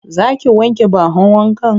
Za ki wanke bahon wankan?